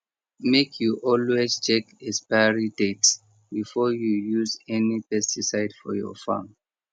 make you always check expiry date before you use any pesticide for your farm